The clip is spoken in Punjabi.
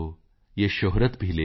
ਯੇ ਸ਼ੌਹਰਤ ਭੀ ਲੇ ਲੋ